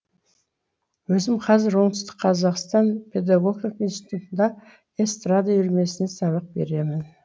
өзім қазір оңтүстік қазақстан педагогика институтында эстрада үйірмесінен сабақ беремін